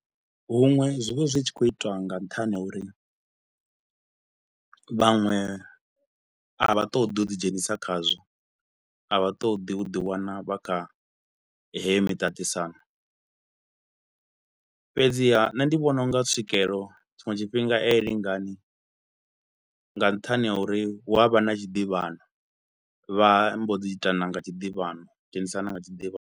Huṅwe zwi vha zwi tshi khou itwa nga nṱhani ha uri vhaṅwe a vha ṱoḓi u ḓi dzhenisa khazwo a vha ṱoḓi u ḓi wana vha kha heyo miṱaṱisano, fhedziha nṋe ndi vhona u nga tswikelelo tshiṅwe tshifhinga a i lingani nga nṱhani ha uri hu a vha na tshiḓivhano. Vha mbo dzi itana nga tshiḓivhano, dzhenisana nga tshiḓivhano.